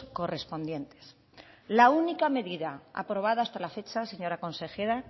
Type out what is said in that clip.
correspondientes la única medida aprobada hasta la fecha señora consejera